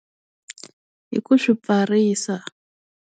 Hi ku swi pfarisa.